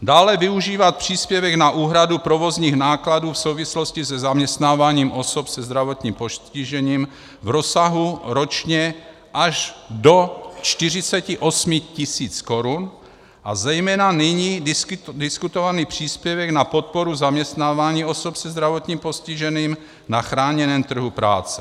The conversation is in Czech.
Dále využívat příspěvek na úhradu provozních nákladů v souvislosti se zaměstnáváním osob se zdravotním postižením v rozsahu ročně až do 48 000 korun, a zejména nyní diskutovaný příspěvek na podporu zaměstnávání osob se zdravotním postižením na chráněném trhu práce.